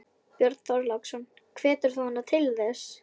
Björn Þorláksson: Hvetur þú hana til þess?